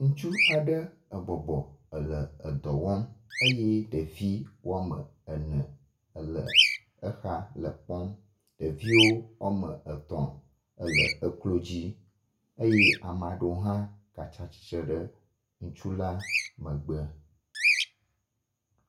Ŋutsu aɖe ebɔbɔ ele edɔ wɔm eye ɖevi woame ene ele exa le kpɔm. Ɖeviwo woame etɔ̃ ele eklo dzi eye ame aɖewo hã gatsi atsitre ɖe ŋutsu la megbe.